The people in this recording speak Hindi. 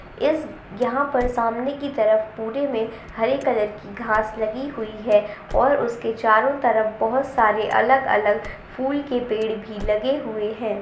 इस यहां पर सामने की तरफ पूरे में हरे कलर की घास लगी हुईं है और उसके चारो तरफ बोहत सारे अलग-अलग फूल के पेड़ भी लगे हुए हैं।